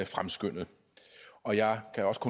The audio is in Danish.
fremskyndet og jeg kan også